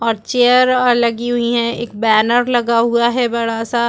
और चेयर ओर लगी हुई है एक बैनर लगा हुआ है बड़ा सा।